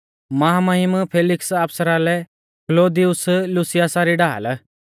महामहिम फैलिक्स आफसरा लै क्लौदियुस लूसियासा री ढाल